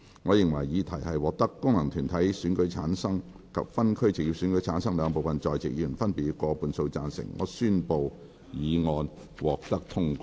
我認為議題獲得經由功能團體選舉產生及分區直接選舉產生的兩部分在席議員，分別以過半數贊成。